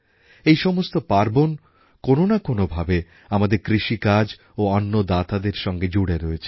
এই সমস্ত পার্বণ কোনও না কোনও ভাবে আমাদের কৃষিকাজ ও অন্নদাতাদের সঙ্গে জুড়ে রয়েছে